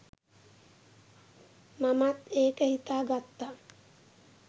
මමත් ඒක හිතා ගත්තා